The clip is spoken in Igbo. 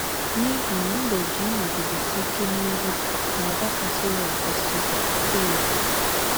N’ihi na mbe ji ịnọgidesi ike n’ihe na àgwà kwesịrị ekwesị so ya.